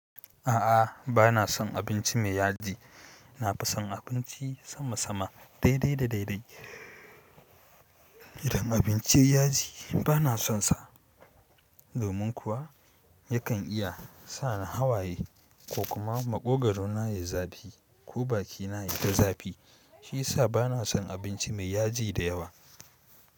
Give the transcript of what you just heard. A'a, ba na son abinci mai yaji. Na fi son abinci sama sama, daidai da daidai. Idan abinci yaji ba na sonsa, domin kuwa yakan iya sa ni hawaye ko kuma maƙogaru na ya zafi ko bakina ya ta zafi. Shi yasa ba na son abinci mai yaji da yawa.